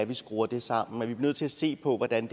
vi skruer det sammen at vi bliver nødt til at se på hvordan